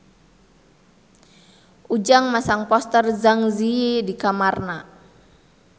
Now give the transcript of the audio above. Ujang masang poster Zang Zi Yi di kamarna